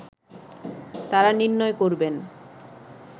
তারা নির্ণয় করবেন